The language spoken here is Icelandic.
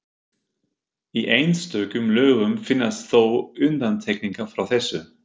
Í einstökum lögum finnast þó undantekningar frá þessu.